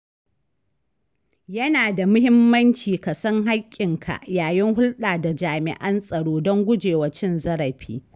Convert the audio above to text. Yana da muhimmanci ka san haƙƙinka yayin hulɗa da jami’an tsaro don gujewa cin zarafi.